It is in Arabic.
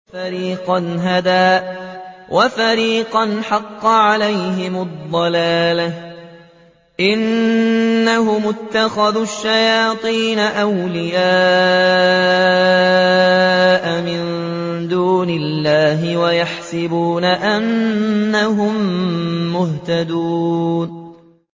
فَرِيقًا هَدَىٰ وَفَرِيقًا حَقَّ عَلَيْهِمُ الضَّلَالَةُ ۗ إِنَّهُمُ اتَّخَذُوا الشَّيَاطِينَ أَوْلِيَاءَ مِن دُونِ اللَّهِ وَيَحْسَبُونَ أَنَّهُم مُّهْتَدُونَ